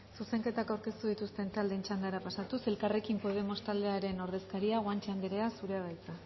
zuzenketak aurkeztu dituzten taldeen txandara pasatuz elkarrekin podemos taldearen ordezkaria guanche anderea zurea da hitza